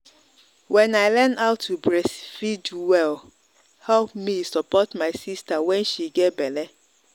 when i learn how to breastfeed well help me support my sister when she get belle.